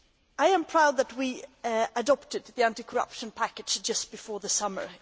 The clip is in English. I am proud that we adopted the anti corruption package just before the summer.